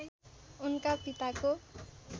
उनका पिताको